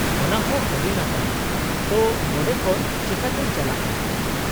-ᱚᱱᱟᱦᱚᱸ ᱟᱹᱰᱤ ᱱᱟᱯᱟᱭ ᱾ ᱛᱚ, ᱱᱚᱸᱰᱮ ᱠᱷᱚᱱ ᱪᱤᱠᱟᱹᱛᱮᱧ ᱪᱟᱞᱟᱜᱼᱟ ?